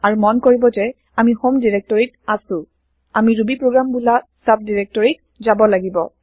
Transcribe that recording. আৰু মন কৰিব যে আমি হম ডাইৰেক্টৰীত আছো আমি ৰুবিপ্ৰগ্ৰাম বোলা চাবডাইৰেক্টৰীত যাব লাগিব